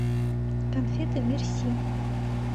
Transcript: конфеты мерси